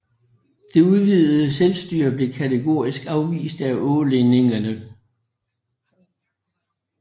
Det udvidede selvstyre blev kategorisk afvist af ålændingene